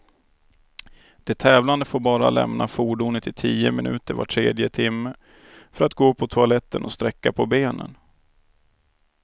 De tävlande får bara lämna fordonet i tio minuter var tredje timme, för att gå på toaletten och sträcka på benen.